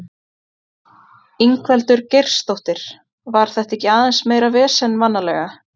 Ingveldur Geirsdóttir: Var þetta ekki aðeins meira vesen vanalega?